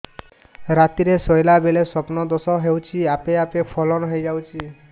ରାତିରେ ଶୋଇଲା ବେଳେ ସ୍ବପ୍ନ ଦୋଷ ହେଉଛି ଆପେ ଆପେ ସ୍ଖଳନ ହେଇଯାଉଛି